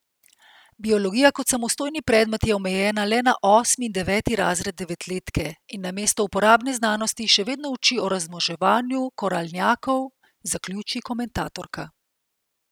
Biologija kot samostojni predmet je omejena le na osmi in deveti razred devetletke in namesto uporabne znanosti še vedno uči o razmnoževanju koralnjakov, zaključi komentatorka.